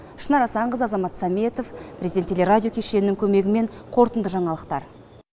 шынар асанқызы азамат саметов президент телерадио кешенінің көмегімен қорытынды жаңалықтар